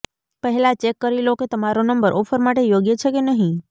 પહેલા ચેક કરી લો કે તમારો નંબર ઓફર માટે યોગ્ય છે કે નહીં